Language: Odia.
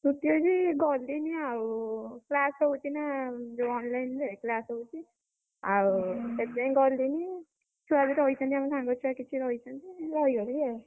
ଛୁଟି ଅଛି ଗଲିନି ଆଉ, class ହଉଛି ନା ଯୋଉ online ରେ class ହଉଛି। ଆଉ ସେଥିପାଇଁ ଗଲିନି, ଛୁଆ ବି ରହିଛନ୍ତି ଆମ ସାଙ୍ଗଛୁଆ କିଛି ରହିଛନ୍ତି ମୁଁ ରହିଗଲି ଆଉ।